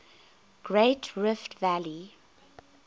great rift valley